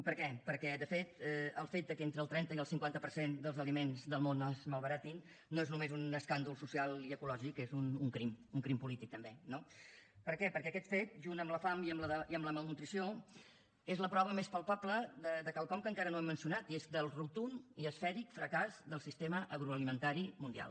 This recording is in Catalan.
per què perquè de fet el fet que entre el trenta i el cinquanta per cent dels aliments del món es malbaratin no és només un escàndol social i ecològic és un crim un crim polític també no per què perquè aquest fet juntament amb la fam i amb la malnutrició és la prova més palpable de quelcom que encara no hem mencionat i és el rotund i esfèric fracàs del sistema agroalimentari mundial